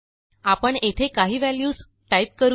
आपण येथे काही व्हॅल्यूज टाईप करू या